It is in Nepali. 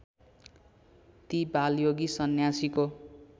ती बालयोगी सन्यासीको